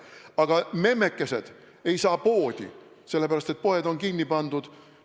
Aga memmekesed ei saa poodi, sellepärast et poed on kinni pandud.